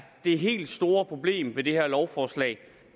det helt store problem ved det her lovforslag